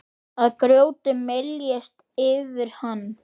Að grjótið myljist yfir hann.